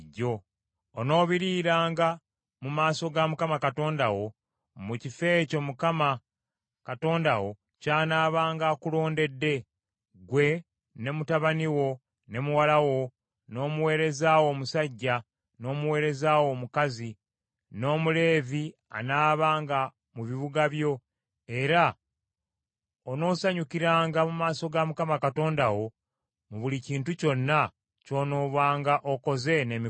Onoobiriiranga mu maaso ga Mukama Katonda wo, mu kifo ekyo Mukama Katonda wo ky’anaabanga akulondedde; ggwe, ne mutabani wo, ne muwala wo, n’omuweereza wo omusajja n’omuweereza wo omukazi, n’Omuleevi anaabanga mu bibuga byo, era onoosanyukiranga mu maaso ga Mukama Katonda wo mu buli kintu kyonna ky’onoobanga okoze n’emikono gyo.